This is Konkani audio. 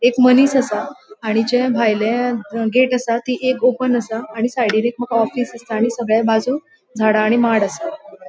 एक मनिस आसा आणि जे भायले गेट आसा थी एक ओपन आसा आणि साइडीन एक ऑफिस दिसता आणि सगळ्यां बाजूक झाड आणि माड आसा.